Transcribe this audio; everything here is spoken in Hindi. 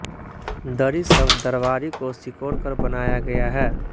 दरी शब्द दरबारी को सिकोड़कर बनाया गया है